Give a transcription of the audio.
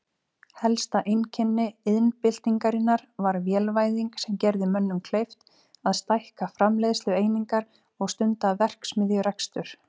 Helsta einkenni iðnbyltingarinnar var vélvæðing sem gerði mönnum kleift að stækka framleiðslueiningar og stunda verksmiðjurekstur.